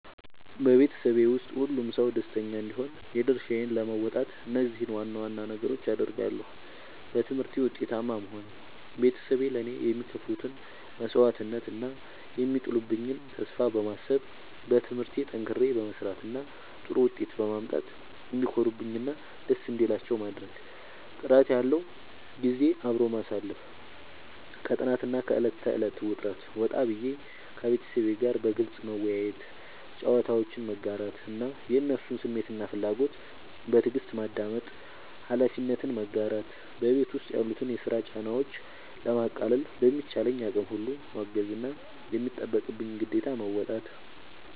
በቤተሰቤ ውስጥ ሁሉም ሰው ደስተኛ እንዲሆን የድርሻዬን ለመወጣት እነዚህን ዋና ዋና ነገሮች አደርጋለሁ፦ በትምህርቴ ውጤታማ መሆን፦ ቤተሰቤ ለእኔ የሚከፍሉትን መስዋዕትነት እና የሚጥሉብኝን ተስፋ በማሰብ፣ በትምህርቴ ጠንክሬ በመስራት እና ጥሩ ውጤት በማምጣት እንዲኮሩብኝ እና ደስ እንዲላቸው ማድረግ። ጥራት ያለው ጊዜ አብሮ ማሳለፍ፦ ከጥናትና ከዕለት ተዕለት ውጥረት ወጣ ብዬ፣ ከቤተሰቤ ጋር በግልጽ መወያየት፣ ጨዋታዎችን መጋራት እና የእነሱን ስሜትና ፍላጎት በትዕግስት ማዳመጥ። ኃላፊነትን መጋራት፦ በቤት ውስጥ ያሉትን የስራ ጫናዎች ለማቃለል በሚቻለኝ አቅም ሁሉ ማገዝና የሚጠበቅብኝን ግዴታ መወጣት።